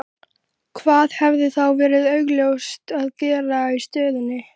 Hvað hefði þá verið augljósast að gera í stöðunni?